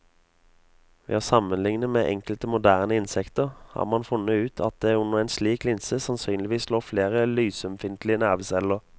Ved å sammenligne med enkelte moderne insekter har man funnet ut at det under en slik linse sannsynligvis lå flere lysømfintlige nerveceller.